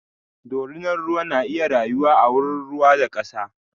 ɗorinan ruwa na iya rayuwa a wurin ruwa da kasa.